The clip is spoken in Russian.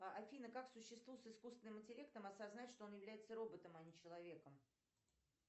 афина как существу с искусственным интеллектом осознать что он является роботом а не человеком